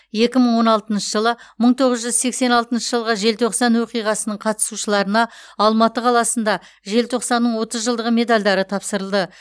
екі мың он алтыншы жылы мың тоғыз жүз сексен алтыншы жылғы желтоқсан оқиғасының қатысушыларына алматы қаласында желтоқсанның отыз жылдығы медальдары тапсырылды